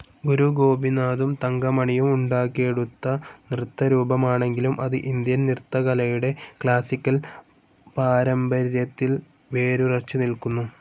ഗുരു ഗോപിനാഥും തങ്കമണിയും ഉണ്ടാക്കിയെടുത്ത നൃത്തരൂപമാണെങ്കിലും അത് ഇന്ത്യൻ നൃത്തകലയുടെ ക്ലാസിക്കൽ പാരമ്പര്യത്തിൽ വേരുറച്ച്‌ നിൽക്കുന്നു.